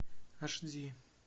аш ди